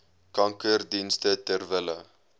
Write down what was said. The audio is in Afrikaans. kankerdienste ter wille